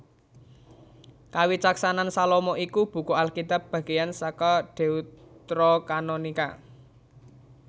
Kawicaksanan Salomo iku buku Alkitab bagéyan saka Deuterokanonika